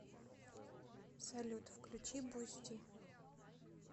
салют включи бусти